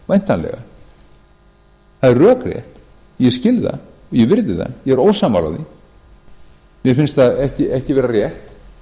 væntanlega það er rökrétt ég skil það ég virði það ég er ósammála því mér finnst það ekki vera rétt